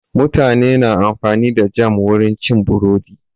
Mutane na amfani da jam wurin cin burodi.